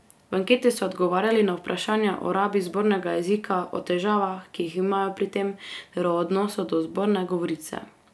V anketi so odgovarjali na vprašanja o rabi zbornega jezika, o težavah, ki jih imajo pri tem, ter o odnosu do zborne govorice.